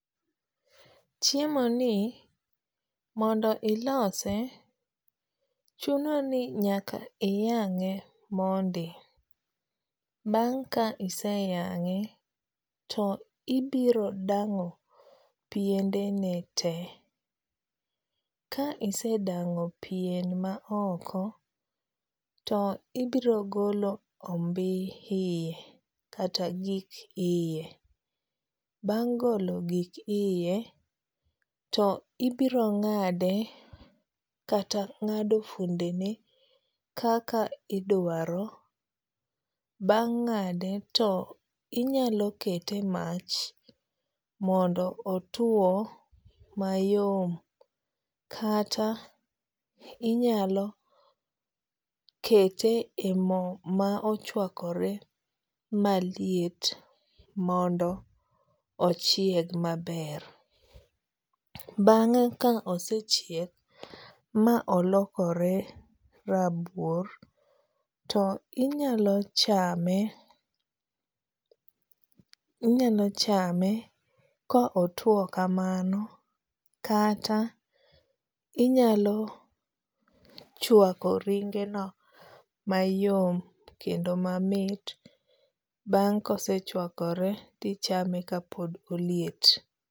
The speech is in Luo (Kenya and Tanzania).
Chiemoni mondo ilose, chuno ni nyaka iyang'e mondi. Bang' ka iseyang'e, to ibiro dang'o piendene te, ka isedang'o pien ma oko, to ibiro golo ombi iye kata gik iye. Bang' golo gik iye to ibiro ng'ade kata ng'ado fuondene kaka idwaro. Bang' ng'ade to inyalo kete e mach mondo otuo mayom kata inyalo kete e mo ma ochuakore maliet mondo ochieg maber. Bang'e ka osechiek ma olokore rabuor to inyalo chame inyalo chame ka otuo kamano kata inyalo chuako ringeno mayom kendo mamit bang' kosechuakore to ichame kapod oliet.